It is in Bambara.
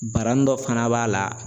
Barani dɔ fana b'a la